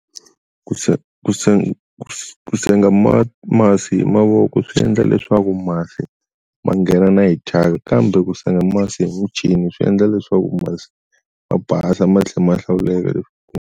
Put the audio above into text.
Ku senga ku senga ku senga ma masi hi mavoko swi endla leswaku masi ma nghena na hi chaka kambe ku senga masi hi muchini swi endla leswaku mati ma basa ma tlhe ma ya hlawuleka .